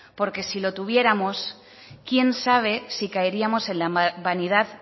porque si lo tuviéramos quién sabe si caeríamos en la vanidad